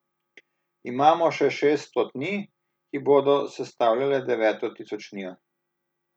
Imamo še šest stotnij, ki bodo sestavljale deveto tisočnijo.